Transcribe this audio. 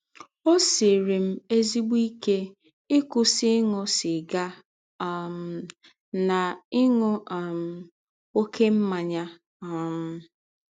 Ọ siiri m ezịgbọ ike ịkwụsị ịṅụ sịga um na ịṅụ um ọké mmanya um.